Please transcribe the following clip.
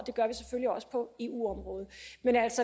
og også på eu området men